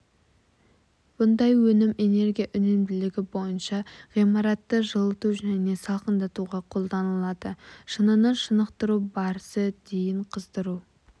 бұлдай өнім энергия үнемділігі бойынша ғимаратты жылыту және салқындатуға қолданылады шыныны шынықтыру барысы дейін қыздыру